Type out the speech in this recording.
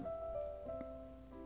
смюбсвсбсюсбсбссббсь